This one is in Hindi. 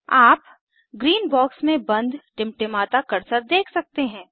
आप ग्रीन बॉक्स में बंद टिमटिमाता कर्सर देख सकते हैं